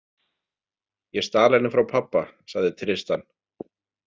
Ég stal henni frá pabba, sagði Tristan.